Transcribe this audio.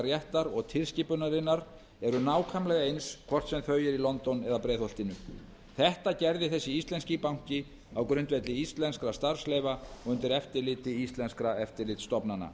réttar og tilskipunarinnar eru nákvæmlega eins hvort sem þau eru í london eða í breiðholtinu þetta gerði hann sem íslenskur banki á grundvelli íslenskra starfsleyfa og undir eftirliti íslenskra eftirlitsstofnana